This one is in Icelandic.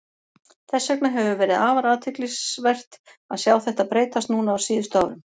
Þess vegna hefur verið afar athyglisvert að sjá þetta breytast núna á síðustu árum.